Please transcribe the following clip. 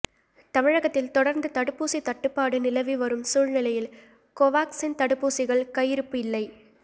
தமிழகத்தில் தொடர்ந்து தடுப்பூசி தட்டுப்பாடு நிலவி வரும் சூழ்நிலையில் கோவாக்சின் தடுப்பூசிகள் கையிருப்பு இல்லை